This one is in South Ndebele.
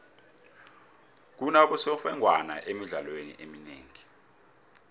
kunabosemfengwana emidlalweni eminengi